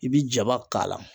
I bi jaba k'a la